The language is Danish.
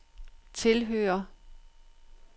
tilhører